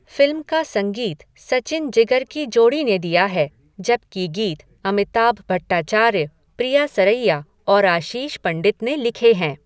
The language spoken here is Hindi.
फिल्म का संगीत सचिन जिगर की जोड़ी ने दिया है, जबकि गीत अमिताभ भट्टाचार्य, प्रिया सरैया और आशीष पंडित ने लिखे हैं।